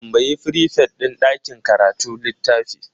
Tambayi frifet din ɗakin karatu littafin.